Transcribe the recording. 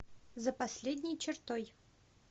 за последней чертой